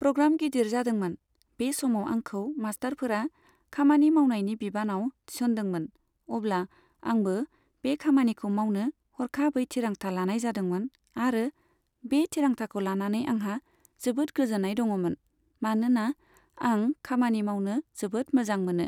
Programme गिदिर जादोंमोन। बे समाव आंखौ मास्टारफोरा खामानि मावनायनि बिबानाव थिसनदोंमोन, अब्ला आंबो बे खामानिखौ मावनो हरखाबै थिरांथा लानाय जादोंमोन आरो बे थिरांथाखौ लानानै आंहा जोबोद गोजोन्नाय दङमोन, मानोना आं खामानि मावनो जोबोद मोजां मोनो।